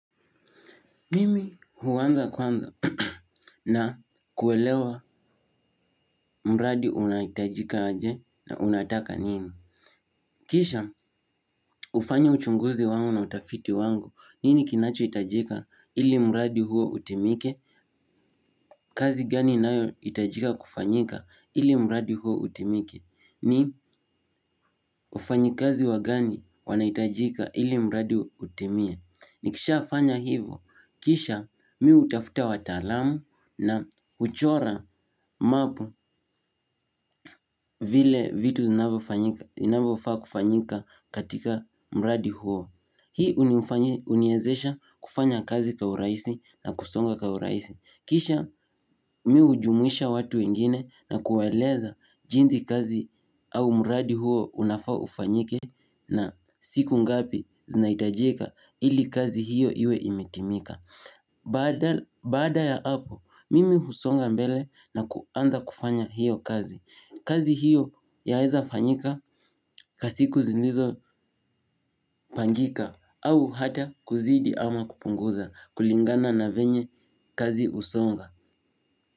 Mimi huanza kwanza na kuelewa mradi unahitajika aje na unataka nini? Kisha hufanya uchunguzi wangu na utafiti wangu nini kinacho hitajika ili mradi huo utimike? Kazi gani inayo hitajika kufanyika ili mradi huo utimike? Ni ufanyi kazi wagani wanaitajika ili mradi utimie? Nikisha fanya hivo, kisha mimi hutafuta wataalamu na huchora map vile vitu zinavyofaa kufanyika katika mradi huo. Hii uniwezesha kufanya kazi kwa urahisi na kusonga kwa urahisi. Kisha mimi hujumuisha watu wengine na kuwaeleza jinsi kazi au mradi huo unafaa ufanyike na siku ngapi zinahitajika ili kazi hiyo iwe imetimika. Baada ya hapo mimi husonga mbele na kuanza kufanya hiyo kazi. Kazi hiyo yaweza fanyika kwa siku zilizo pangika au hata kuzidi ama kupunguza kulingana na venye kazi husonga.